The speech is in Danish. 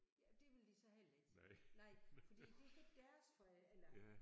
Ja det ville de så heller ikke nej fordi det hed deres for eller